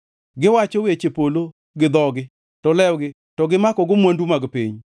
Giwacho weche polo gi dhogi to lewgi to gimakogo mwandu mag piny.